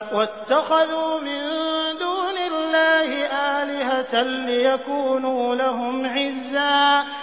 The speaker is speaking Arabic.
وَاتَّخَذُوا مِن دُونِ اللَّهِ آلِهَةً لِّيَكُونُوا لَهُمْ عِزًّا